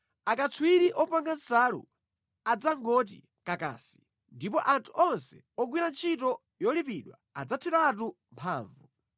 Akatswiri opanga nsalu adzangoti kakasi, ndipo anthu onse ogwira ntchito yolipidwa adzatheratu mphamvu.